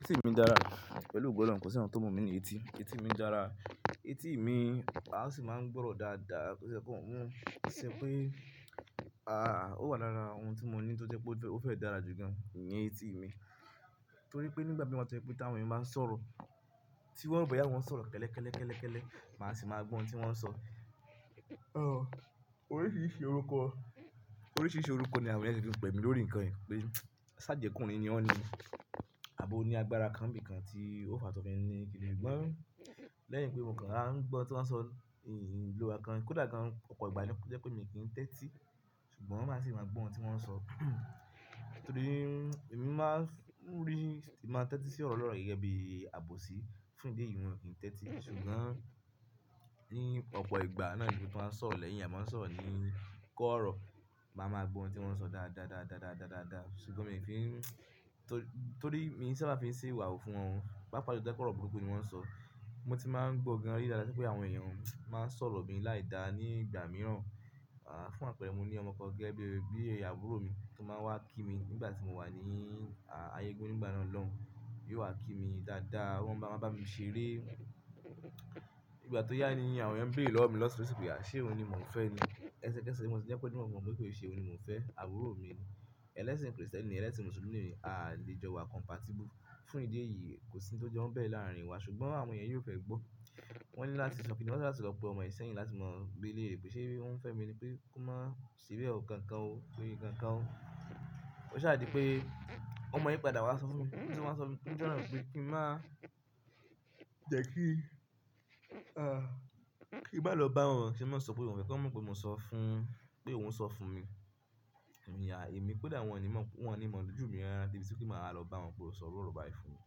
Etí mi dára pẹ̀lú ogo olohun kosi nkan tó mu mí ní etí. Etí mi dára, etí mi, a sì máa ń gbọ́rọ̀ dáadáa tó ṣe pé, to ṣe pé, ó wà lára ohun tí mo ní tó jẹ pé ó fẹ́ dára jù gan ní etí mi. Torí pé nígbà tí mi tojẹ̀ pé ti àwọn èèyàn báa ń sọ̀rọ̀, tí wọ́n ò ro boyá àwọn sọ̀rọ̀ kẹ́lẹ́kẹ́lẹ́ kẹ́lẹ́kẹ́lẹ́, màá sì máa gbọ́ ohun tí wọ́n ń sọ. Ọ, oríṣìíríṣìí orúkọ, oríṣìíríṣìí orúkọ ni àwọn èèyàn tí ń pè mí lórí nǹkan yìí pé ṣááje ọkùnrin ni o ní, àbí oni agbára kan nbí kan tí ó fa tó fi ni kíni. Lẹ́yìn pé mo kàn wá ń gbọ́ tí wọ́n ń sọ ni mi lo nkankan, kódà gan ọ̀pọ̀ ìgbà ni ó jẹ́ pé mi ò kí ń tẹ́tí, ṣùgbọ́n màá sì máa gbọ́ ohun tí wọ́n ń sọ. Torí mi máa ń rí, màá tẹ́tí sí ọ̀rọ̀ ọ̀rọ̀ gẹ́gẹ́ bí àbòsí, fún ìdí èyí mi ò kí ń tẹ́tí. Ṣùgbọ́n ní ọ̀pọ̀ ìgbà náà ni bí wọ́n bá ń sọ̀rọ̀ lẹ́yìn, àwọn èèyàn máa ń sọ̀rọ̀ ní kọ́rọ̀, màá máa gbọ́ ohun tí wọ́n ń sọ dáadáa dáadáa dáadáa dáadáa. Ṣùgbọ́n mi ò fi n-- torí, torí mi ò ṣabá fi ṣe ìwà wa wu fún wọn, papa jùlọ to bàjẹ́ pe ọ́rọ̀ burúkú ni wọ́n ń sọ. Mo ti máa ń gbó gan rí dáadáa pé àwọn èèyàn máa ń sọ̀rọ̀ mi láìda ní ìgbà mìíràn, à, fún àpẹ̀rẹ́ mo ní ọmọ kan gẹ́gẹ́ bí, bí àbúrò mi tó máa wá kí mi nígbà tí mo wà ní, a, ayégun nígbà náà lọ́hun. Yóò wá kí mi dáadáa, wọ́n máa ń bá mi ṣeré. Ìgbà tí ó yá ni àwọn èèyàn ń béèrè lọ́wọ́ mi lọ́tun losi, ṣé òun ni mò ń fẹ́ ni? Ẹsẹkẹsẹ mo ti jẹ́ pé kí o di mimo fún wọ́n pé kò ṣe òun ni mò ń fẹ́, àbúrò mi ni. Ẹlẹ́sìn Kristẹni ni oun, ẹlẹ́sìn Mùsùlùmí ni emi, a lè jọ wà compatible. Fún ìdí èyí kò sí ohun tó jẹ́ wọ́n bẹ̀rẹ̀ láàrín wa. Ṣùgbọ́n àwọn èèyàn yìí óò fẹ́ gbọ́. Wọ́n ní láti sọkín, wọ́n dá láti lọ pe ọmọ ìsẹ́yìn láti máa béèrè pé ṣé ó ń fẹ́ mi ni pé kó máa ṣeré ọ̀rọ̀ kan kan ó, pé kankan ó. Ó ṣáàdi pé ọmọ yi padà wá sọ fún mi, tí wọ́n máa ń sọ fún mi nijo náà pé kí n má jẹ́ kí, kí n má lọ bá wọn ṣe máa sọ pé òun ni kí wọ́n mọ̀ pé mo sọ fún pé òun ń sọ fún mi. Èmi à, èmi kódà won ni mo wọ́n ní mọ̀ ọ́ lójú mi rárá di ti kí màá lọ bá wọn pé ó sọ ọ̀rọ̀ bàì fún mi.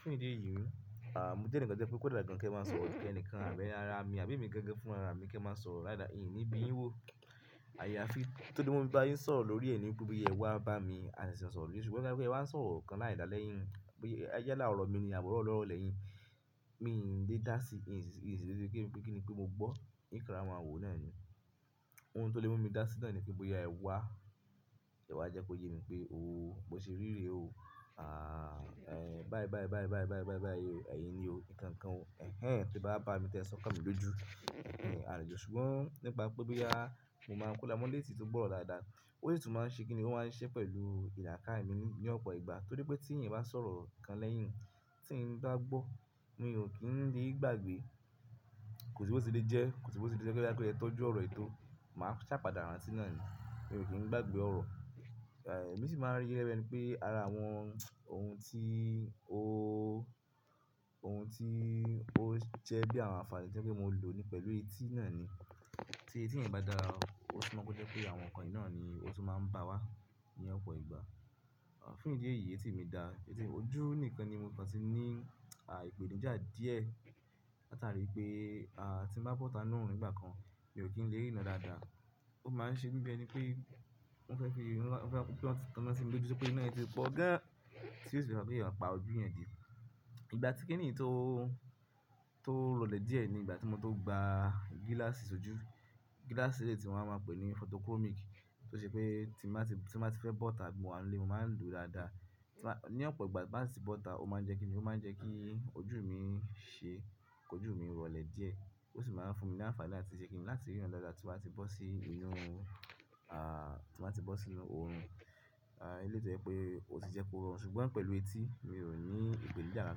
Fún ìdí èyí, mo je enikan jẹ́ pé kó dá gan kí ẹ máa sọ̀rọ̀ ẹnìkan àbí árá mi àbí emi gan gan fún ara mi kí ẹ máa sọ láìda ìni bí yín wò. Àyàfi tí tó dí mu mi bá yin sọ̀rọ̀ lórí ẹ nìpe bí ẹ wá bá mi, a sì máa sọ̀rọ̀ lórí rẹ̀. Ṣùgbọ́n boya n pe ewa n sọ̀rọ̀ kan láìda lẹ́yìn, pé ẹ yá lára ọ̀rọ̀ mi ni àbí orò ọ̀lorọ̀ lẹ́yìn, mi n lè dá sí, isi kí n pé kíni pé mo gbọ́, n ko á máa wòó náà ni. Ohun tó lè mú mi dá sí náà ni pé bóyá ẹ wá, ẹ wá jẹ́ kó yé mi pé ó, bó ṣe ríre ó, ẹn, báì báì báì báì báì báì o, ẹ̀yin ni o, nǹkan kan, ẹ̀hen, pé bá bá mi tẹ san kà mí lójú. Ṣùgbọ́n nípa pé boya, mo máa ń kó mola létí tó gbọ́rọ̀ dáadáa. Ó sì tún máa ń ṣe kíni ló máa ń ṣe pẹ̀lú ìdákà mí ní ọ̀pọ̀ ìgbà. Torí pé tí ẹ̀yin bá sọ̀rọ̀ kan lẹ́yìn, tí n bá gbọ́, mi ò kí ń lè gbàgbé. Kò sí bó ṣe lè jẹ́, kò sí bó ṣe lè jẹ́ ká kẹ́ kí ẹ tọ́jú ọ̀rọ̀ yìí tò, màá ṣàpa dà rántí náà ni. Mi ò kí ń gbàgbé ọ̀rọ̀. Emi sì máa ń rí yẹ bí ẹni pé ara àwọn ohun tí ó, ohun tí ó ń je bí àwọn àǹfààní tí ẹ pé mo lò ni pẹ̀lú etí náà ni. Tí etí ẹ̀yin bá dára o, ó sì máa jẹ́ pé àwọn nǹkan yìí náà ni ó tún máa ń bá wá ní ọ̀pọ̀ ìgbà. Fún ìdí èyí etí mi dá, etí mi ojú nìkan ni mo ti kan ti ní, a, ìpènijà díẹ̀. Láti àrí pé, a, tí mo bá bọ́ta náà ni ìgbà kan, mi ò kí ń lè rí irán dáadáa. Ó máa ń ṣe mí bí ẹni pé ó fẹ́ fí, ó fẹ́ kí wọ́n ti tan ina sí mi lójú pé iná yìí ti pọ̀ gan. Tí ó sì fi rán pé ki èèyàn pa ojú yẹn dé. Ìgbà tí kiní tó, tó rọlẹ̀ díẹ̀ ni ìgbà tí mo tó gba gíláàsì ojú. Gíláàsì eleyii tí mo máa ń wa pẹ̀lú ní fotokómìkì tí ó ṣe pé tí mo bá ti, tí mo bá ti fẹ́ bọ́ta bí mo wà nílé, mo máa ń lòó dáadáa. Ti bá, ní ọ̀pọ̀ ìgbà tí màá sì bọ́ta, ó máa ń jẹ́ kíni, ó máa ń jẹ́ kí ojú mi ṣe, kí ojú mi rọlẹ̀ díẹ̀. Ó sì máa ń fún mi ní àǹfààní láti ṣe kíni láti rí irán dáadáa tí bá ti bọ́ sí inú, tí mo bá ti bọ́ sí inú orun. Elé tó jẹ́ pé ò ti jẹ́ kó rọ. Ṣùgbọ́n pẹ̀lú etí, mi ò ní ìpènijà kan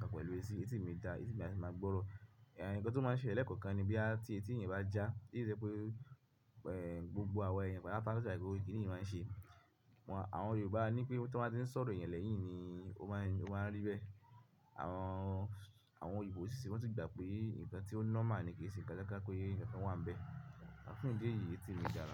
kan pẹ̀lú etí. Etí mi dá, etí mi a sì máa gbọ́rọ̀. Nǹkan tó máa ń ṣele lẹ́kan kan ni bóyá ti etí ẹ̀yan bá já, tí ele i to ye pé, gbogbo àwọn ẹ̀yàn patà lo da pe kíni yìí máa ń ṣe. Wọn, àwọn Yorùbá ní pé tí wọ́n bá ti ń sọ̀rọ̀ ìyàn lẹ́yìn ni ó máa ń, ó máa ń rí bẹ́ẹ̀. Àwọn, àwọn òyinbo si, wọn ti gbà pe nnkàn to normal ni kí n se nkàn kàn pe nkàn wa n be, a fún idi èyí etí mi dáa.